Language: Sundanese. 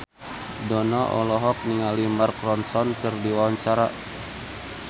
Dono olohok ningali Mark Ronson keur diwawancara